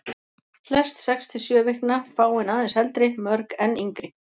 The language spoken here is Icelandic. Flest sex til sjö vikna, fáein aðeins eldri, mörg enn yngri.